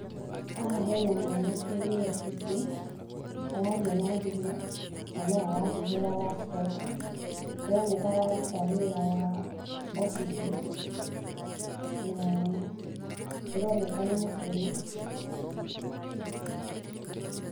Haha he na mwanake wĩ wabici, araria na thimũ, na no arahũthĩra laptop. ĩroneka araruta wĩra wa wabici na ĩroneka nĩ mũkenu.